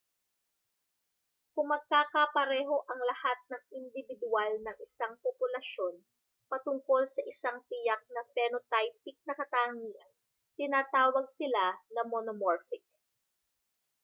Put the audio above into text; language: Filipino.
kung magkakapareho ang lahat ng indibidwal ng isang populasyon patungkol sa isang tiyak na phenotypic na katangian tinatawag sila na monomorphic